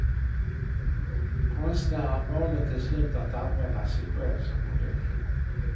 Konstnären valde till slut att använda sig själv som modell.